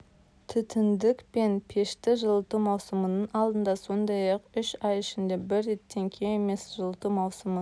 түтіндік пен пешті жылыту маусымының алдында сондай-ақ үш ай ішінде бір реттен кем емес жылыту маусымы